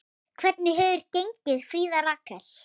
Hvernig hefur gengið, Fríða Rakel?